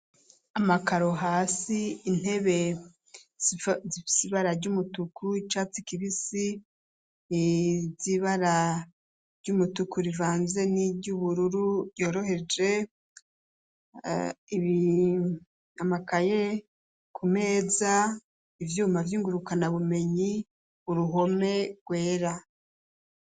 Amakaro hasi intebe ibara ry'umutuku icatsi kibisi ni byibara ry'umutuku rivanze n'iry'ubururu yoroheje amakaye ku meza ivyuma vyingurukana bumenyi uruhome rwera.